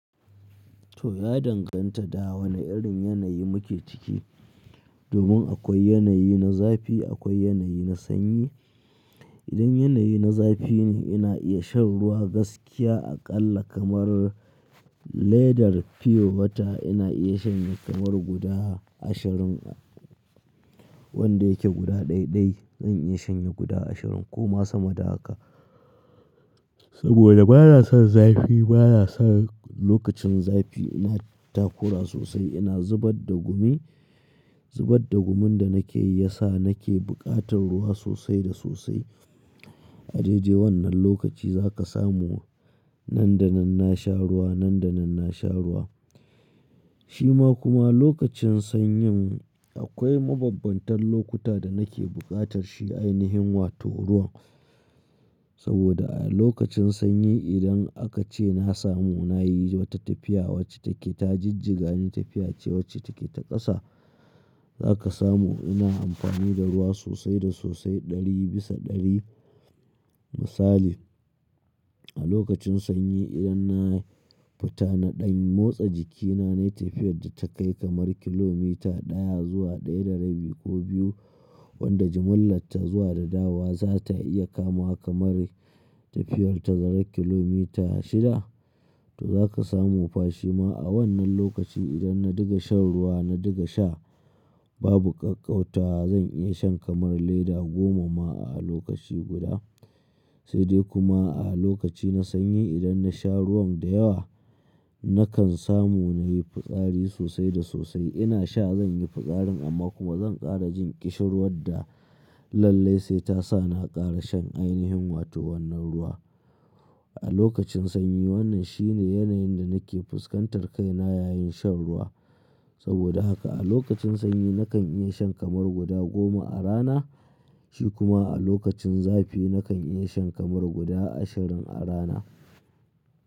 To ya danganta da wane irin yanayi muke ciki. Domin akwai yanayi na zafi, akwai yanayi na sanyi. Idan yanayi na zafi ne ina iya shan ruwa gaskiya aƙalla kamar ledar fiye wata ina iya shanye kamar guda ashirin wanda yake guda dai-dai zan iya shanye guda ashirin ko ma sama da haka. Saboda ba na son zafi ba na son lokacin zafi ina takura sosai ina zubar da gumi. Zubar da gumin da nake yi ya sa nake buƙatar ruwa sosai da sosai. A jeje wannan lokaci za ka samu nan da nan na sha ruwa, nan da nan na sha ruwa. Shi ma kuma lokacin sanyin akwai mabambantan lokuta da nake buƙatar shi ainihin wato ruwan. Saboda a lokacin sanyi idan aka ce na samu nayi wata tafiya wacce take ta jijjiga ne tafiya ce wacce take ta ƙasa. Za ka samu ina amfani da ruwa sosai da sosai ɗari bisa ɗari. Misali, a lokacin sanyi idan na fita na ɗan motsa jikina nai tafiyar da ta kai kamar kilomita ɗaya zuwa ɗaya da rabi ko biyu wanda jimillarta zuwa da dawa za ta iya kama kamar tafiyar tazara kilomita shida. To za ka samu fashi ma a wannan lokaci idan na diga shan ruwa na diga sha babu ƙaƙƙauta zan iya shan kamar leda goma ma a lokaci guda. Sai dai kuma a lokaci na sanyi idan na sha ruwan da yawa nakan samu nayi fitsari sosai da sosai. Ina sha zan yi fitsarin amma kuma zan ƙara jin ƙishirwar da lallai sai ta sa na ƙara shan ainihin wato wannan ruwa. A lokacin sanyi wannan shine yanayin da nake fuskantar kaina yayin shan ruwa. Saboda haka a lokacin sanyi nakan iya shan kamar guda goma a rana. Shi kuma a lokacin zafi nakan iya shan kamar guda ashirin a rana.